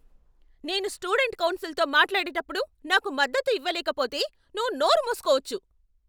నేను స్టూడెంట్ కౌన్సిల్తో మాట్లాడేటప్పుడు నాకు మద్దతు ఇవ్వలేకపోతే, నువ్వు నోరు మూసుకోవచ్చు.